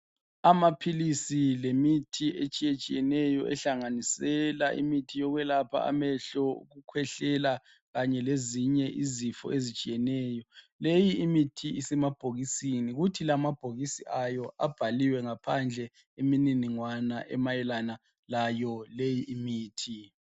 Amaphilisi lemithi etshiyetshiyeneyo ehlanganisela imithi yokwelapha amehlo ukukhwehlela kanye lezinye izifo ezitshiyeneyo leyi imithi isemabhokisini kuthi amabhokisi ayo abhaliwe ngaphandle imininingwana emayelana laleyi imithi.